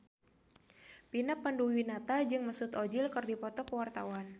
Vina Panduwinata jeung Mesut Ozil keur dipoto ku wartawan